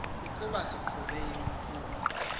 ukuba siqhube ikhulu